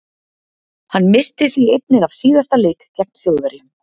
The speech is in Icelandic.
Hann missti því einnig af síðasta leik gegn Þjóðverjum.